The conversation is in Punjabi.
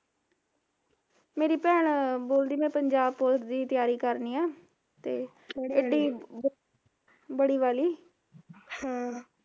ਮੇਰੀ ਭੈਣ ਬੋਲਦੀ ਮੈਂ ਪੰਜਾਬ ਪੁਲਸ ਦੀ ਤਿਆਰੀ ਕਰਨੀ ਆ ਤੇ ਵੜੀ ਵਾਲੀ